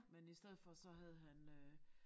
Men i stedet for så havde han øh